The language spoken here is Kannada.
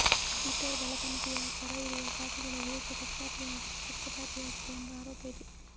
ಟ್ವಿಟರ್ ಬಲಪಂಥೀಯ ಪರ ಇರುವ ಖಾತೆಗಳ ವಿರುದ್ಧ ಪಕ್ಷಪಾತಿಯಾಗಿದೆ ಎಂಬ ಆರೋಪ ಇದೆ